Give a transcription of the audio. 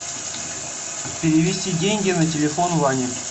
перевести деньги на телефон ване